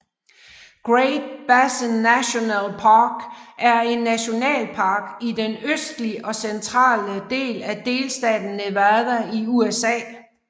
Great Basin National Park er en nationalpark i den østlig og centrale del af delstaten Nevada i USA